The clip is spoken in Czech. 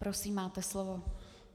Prosím, máte slovo.